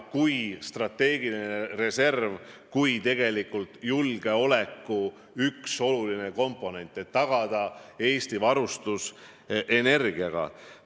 Tuleb ju tagada strateegiline reserv kui tegelikult julgeoleku oluline komponent, mis garanteeriks Eesti varustatuse energiaga.